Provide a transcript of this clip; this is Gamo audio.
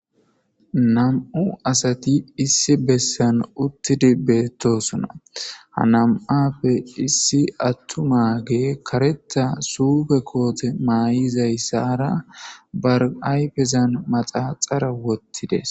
Nam7u asati issi bessan uttidi beettosona ha nam7appe issi attu mage karetta suufe koote maay7izayssara barayfezan maxaxara wottides